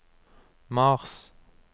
mars